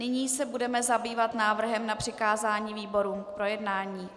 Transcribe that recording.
Nyní se budeme zabývat návrhem na přikázání výborům k projednání.